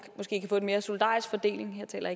måske kan få en mere solidarisk fordeling her taler